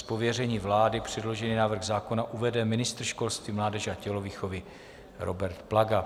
Z pověření vlády předložený návrh zákona uvede ministr školství, mládeže a tělovýchovy Robert Plaga.